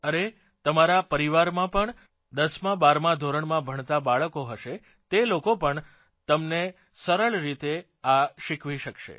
અરે તમારા પરિવારમાં પણ 10 માં 12 માં ધોરણમાં ભણતાં બાળકો હશે તે લોકો પણ તમને સરળ રીતે આ શીખવી સકશે